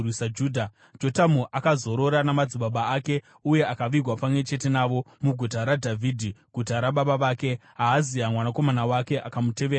Jotamu akazorora namadzibaba ake uye akavigwa pamwe chete navo muGuta raDhavhidhi, guta rababa vake. Ahazia mwanakomana wake akamutevera paumambo.